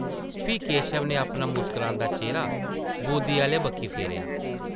फ्ही केशव नै अपना मुस्करांदा चेह्रा बोद्दी आह्ले बक्खी फेरेआ ।